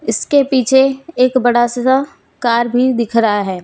इसके पीछे एक बड़ा सा कार भी दिख रहा है।